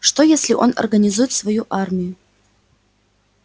что если он организует свою армию